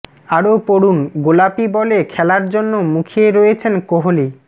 আরও পড়ুন গোলাপি বলে খেলার জন্য মুখিয়ে রয়েছেন কোহলি